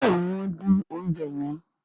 béèni wón din oúnjẹ yen.